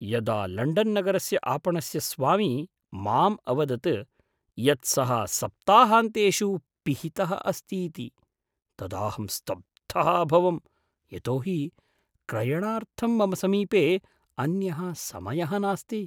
यदा लण्डन्नगरस्य आपणस्य स्वामी माम् अवदत् यत् सः सप्ताहान्तेषु पिहितः अस्तीति, तदाहं स्तब्धः अभवं यतो हि क्रयणार्थं मम समीपे अन्यः समयः नास्ति।